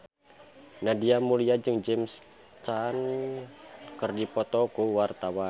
Nadia Mulya jeung James Caan keur dipoto ku wartawan